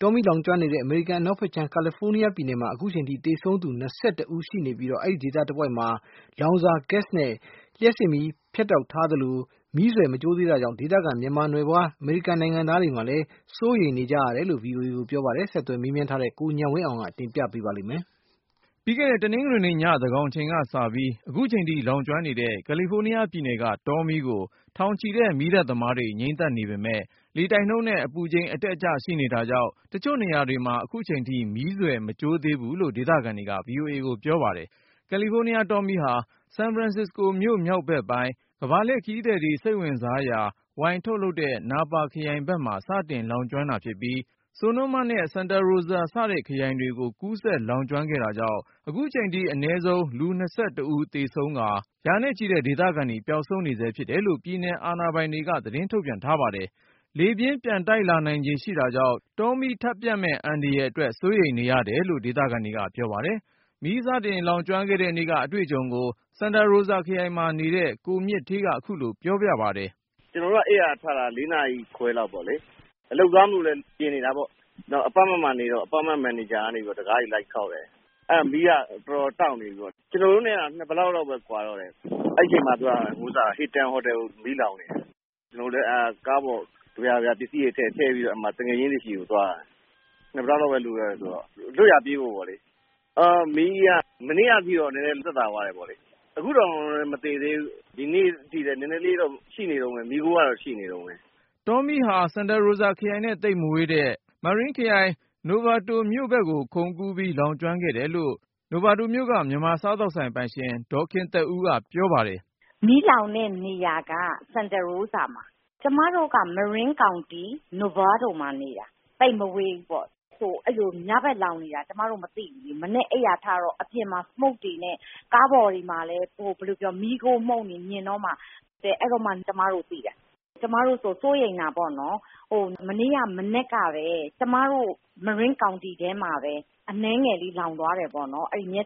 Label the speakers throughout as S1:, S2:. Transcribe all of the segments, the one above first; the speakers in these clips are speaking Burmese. S1: တောမီး လောင်ကျွမ်းနေတဲ့ အမေရိကန် အနောက်ဖက်ခြမ်း ကယ်လီဖိုးနီးယား ပြည်နယ်မှာ အခုချိန်ထိသေဆုံးသူ အနည်းဆုံး ဦးရှိနေပြီး၊ အဲဒီဒေသတဝိုက် လောင်စာ Gas နဲ့ လျှပ်စစ်မီး ဖြတ်တောက်ထားသလို မီးစွယ် မကျိုးသေးတာကြောင့် ဒေသခံမြန်မာနွယ်ဖွား အမေရိကန် နိုင်ငံသားတွေလဲ စိုးရိမ်စိတ်နဲ့နေနေ ကြရတယ်လို့ VOA ကိုပြောပါတယ်။ ဆက်သွယ်မေးမြန်းထားတဲ့ ကိုဉာဏ်ဝင်းအောင်က တင်ပြပါမယ်။
S2: ပြီးခဲ့တဲ့ တနင်္ဂနွေနေ့ ညသန်းခေါင်အချိန်က စပြီး ခုချိန်ထိ လောင်ကျွမ်းနေတဲ့ ကယ်လီဖိုးနီးယားပြည်နယ်က တောမီးကို ထောင်ချီတဲ့ မီးသတ် သမားတွေ ငြှိမ်းသတ်နေပေမဲ့ လေတိုက်နှုန်းနဲ့ အပူချိန်အတက်အကျ ရှိနေတာကြောင့် တချို့နေရာတွေမှာ အခုချိန်ထိ မီးစွယ်မကျိုးသေးဘူး လို့ ဒေသခံတွေက VOA ကိုပြောပါတယ်။ ကယ်လီဖိုးနီးယား တောမီးဟာ San Francisco မြို့မြောက်ဘက်ပိုင်း ကမ္ဘာလှည့် ခရီးသည်တွေ စိတ်ဝင်စားရာ ဝိုင်ထုတ်လုပ်တဲ့ Napa ခရိုင် ဘက်မှာ စတင်လောင်ကျွမ်း တာဖြစ်ပြီး၊ Sonoma နဲ့ Santa Rosa စတဲ့ခရိုင်တွေကို ကူးစက် လောင်ကျွမ်းခဲ့ တာကြောင့် အခုချိန်ထိ အနည်းဆုံး လူ ဦးသေဆုံးကာ၊ ရာနဲ့ချီတဲ့ ဒေသခံတွေ ပျောက်ဆုံးနေဆဲ ဖြစ်တယ်လို့ ပြည်နယ်အာဏာပိုင်တွေက သတင်းထုတ်ပြန်ထား ပါတယ်။ လေပြင်း ပြန်တိုက်လာနိုင်ခြေ ရှိတာကြောင့် တောမီးထပ်ပျံ့မယ့် အန္တရာယ် အတွက် စိုးရိမ်နေရတယ်လို့ ဒေသခံတွေကပြောပါတယ်။ မီးစတင် လောင်ကျွမ်းခဲ့တဲ့နေ့က အတွေ့အကြုံကို Santa Rosa ခရိုင်မှာနေတဲ့ ကိုမြင့်ဌေးက ခုလိုပြောပြပါတယ်။
S1: “ ကျနော်တို့အိပ်ယာထတာ ၄နာရီခွဲလောက်ပေါ့လေ။ အလုပ်သွားမလို့လည်း ပြင်နေတာပေါ့။ Apartment မှာနေတော့ မန်နေဂျာကနေ တခါးတွေ လိုက်ခေါက် သတိပေးတယ်။ အဲဒီအချိန်မှာ မီးကအတော်တောက်နေပြီ၊ ကျနော်တို့နဲ့က ၂ ဘလောက် လောက်ပဲ ကွာတော့မယ်။ အဲဒီအချိန်မှာ Hilton ဟိုတယ်ကို မီးလောင်နေပြီ။ ကျနော်တို့လဲ ကဗျာကယာ ကားပေါ် ပစ္စည်းတွေထည့်ပေါ့။ အဲဒီမှာ သူငယ်ချင်းတွေဆီ သွားတယ်။ လွတ်ရာပြေးဖို့ပေါ့လေ။ မီးက မနေ့ကအထိတော့ နည်းနည်း သက်သာသွားတယ်။ အခုတောင် မသေသေးဘူး ဒီနေ့ထိလည်း နည်းနည်းလေးတော့ ရှိနေတုန်းပဲ မီးခိုးကတော့ ရှိနေတုန်းပဲ ”
S2: တောမီဟာ Santa Rosa ခရိုင်နဲ့သိပ်မဝေးတဲ့ Marin ခရိုင် Novato မြို့ဘက်ကို ခုန်ကူးပြီး လောင်ကျွမ်းခဲ့တယ်လို့ Novato မြို့က မြန်မာ စားသောက်ဆိုင် ပိုင်ရှင် ဒေါ်ခင်သက်ဦးက ပြောပါတယ်
S3: ။ “ မီးလောင်တဲ့နေရာက Santa Rosa မှာ။ ကျမတို့က Marin County, Novato မှာနေတာ.. သိပ်မဝေးဘူးပေါ့။ ညဘက် မီးလောင်နေတာ ကျမတို့ မသိဘူး။ မနက် အိပ်ယာထတော့ အပြင်မှာ Smoke တွေနဲ့ ကားပေါ်မှာလဲ မီးခိုးမှုန့်တွေ မြင်တော့မှ.. အဲဒီတော့မှ ကျမတို့သိတာ။ ကျမတို့ဆို စိုးရိမ်တာပေါ့နော်။ မနေ့က မနက်ကပဲ ကျမတို့ Marin County ထဲမှာပဲ မြက်ခြောက်ကနေစပြီး နည်းနည်းလေး လောင်သွား တယ်ပေါ့နော်။ ဒါပေမဲ့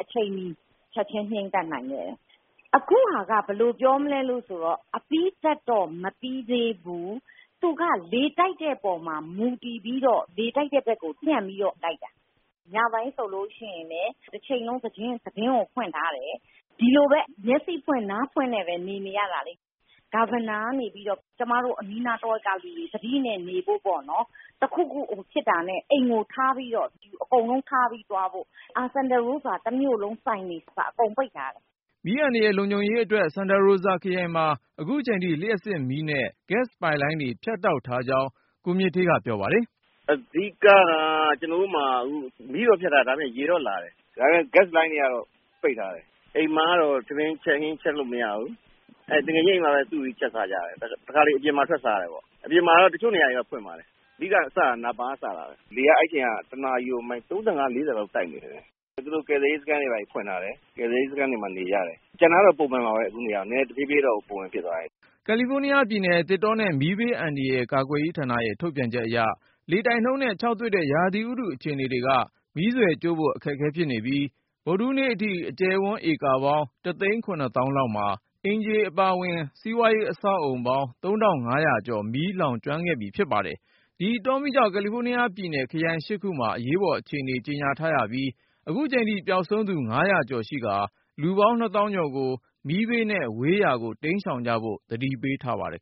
S3: အချိန်မီ ချက်ခြင်း ငြိမ်းသတ်နိုင်ခဲ့တယ်။ အခုက ဘယ်လိုလဲဆိုတော့ အပြီးသတ်တော့ မပြီးသေးဘူး၊ သူက လေတိုက်တဲ့ပေါ်မှာ မူတည်ပြီးတော့ လေတိုက်ဘက်ပျံ့ပြီးတော့ လောင်တာ။ ညပိုင်းဆိုလဲ တချိန်လုံး သတင်းကို ဖွင့်ထားရတယ်။ မျက်စိဖွင့် နားဖွင့်နဲ့ပဲ နေနေရတာလေ။ ကျမတို့ အနီးနားတဝိုက်ကလူတွေ သတိနဲ့နေဖို့ပေါ့နော်.. တခုခုဖြစ် တာနဲ့ အိမ်ကိုထားပြီး အကုန်လုံးထားပြီး ထွက်သွားကြဖို့ Governor ကနေပြီးသတိပေးထားတယ်။ Santa Rosa မှာ တမြို့လုံးနီးပါး ဆိုင်တွေ ပိတ်ထားတယ်။”
S2: မီးအန္တရာယ် လုံခြုံရေးအတွက် Santa Rosa ခရိုင်မှာ ခုချိန်ထိ လျှပ်စစ်မီးနဲ့ Gas ပိုက်လိုင်းတွေ ဖြတ်တောက်ထားကြောင်း ကိုမြင့်ဌေးက ပြောပါတယ်
S1: ။ “ အဓိကက ကျနော်တို့ဆီမှာ မီးဖြတ်ထားတယ်။ ရေတော့လာတယ်။ ဒါပေမဲ့ ဂက်စ်လိုင်းတွေတော့ ပိတ်ထားတယ်။ အိမ်မှာတော့ ထမင်း ဟင်း ချက်လို့မရဘူး။ သူငယ်ချင်းအိမ်မှာပဲ စုပြီး ချက်စားကြတယ်။ တခါတလေ အပြင်မှာထွက်စားတယ်။ တချို့နေရာတွေ ဖွင့်ပါတယ်။ အဓိက စတာကတော့ Napa ခရိုင်က စလောင်တာပဲ။ အဲဒီအချိန်တုန်းက လေက တနာရီကို မိုင် လောက်တိုက်နေတယ်။ အခု သူတို့ ကယ်ဆယ်ရေးစခန်းတွေ ဖွင့်ထားတယ်။ အဲဒီမှာနေကြတာရှိတယ်။ ကျန်တာတော့ ပုံမှန်ပဲ၊ တဖြည်းဖြည်း ပုံမှန် ဖြစ်သွားမှာပဲ။
S2: ” ကယ်လီဖိုးနီးယားပြည်နယ် သစ်တောနဲ့ မီးဘေးအန္တရာယ်ကာကွယ်ရေးဌာနရဲ့ ထုတ်ပြန်ချက်အရ လေတိုက်နှုန်းနဲ့ ခြောက်သွေ့တဲ့ ရာသီဥတု အခြေအနေက မီးစွယ်ကျိုးဖို့ အခက်အခဲဖြစ်နေပြီး ဗုဒ္ဓဟူးနေ့အထိ အကျယ်ဝန်းဧကပေါင်း သိန်း သောင်းလောက်မှာ အိမ်ခြေအပါဝင် စီးပွားရေး အဆောက်အဦပေါင်း ကျော် မီးလောင်ကျွမ်းခဲ့ပြီးဖြစ်ပါတယ်။ ဒီတောမီးကြောင့် ကယ်လီဖိုးနီးယားပြည်နယ် ခရိုင် ၈ ခုမှာ အရေးပေါ်အခြေအနေ ကြေညာထားပြီး အခုချိန်ထိ ပျောက်ဆုံးနေသူ ကျော် ရှိကာ လူပေါင်း သောင်းကျော်ကို မီးဘေးနဲ့ ဝေးရာကို ရှောင်တိမ်းကြဖို့ သတိပေးထားပါတယ်